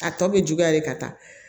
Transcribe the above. A tɔ bɛ juguya de ka taa